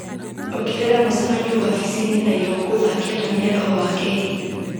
ongerera mũcemanio wabici-inĩ na irũngũ thaa kenda mĩaraho wakerĩ